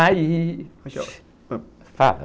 Aí... Fala.